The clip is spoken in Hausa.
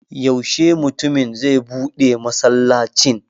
Yaushe mutumin zai buɗe masallacin?